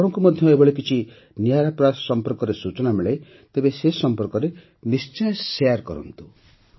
ଯଦି ଆପଣଙ୍କୁ ମଧ୍ୟ ଏପରି କିଛି ନିଆରା ପ୍ରୟାସ ସମ୍ପର୍କରେ ସୂଚନା ମିଳେ ତେବେ ସେ ସମ୍ପର୍କରେ ନିଶ୍ଚୟ ଶେୟାର୍ କରନ୍ତୁ